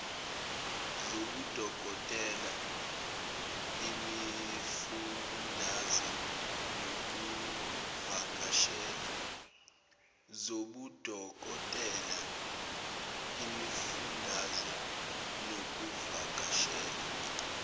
zobudokotela imifundaze nokuvakashela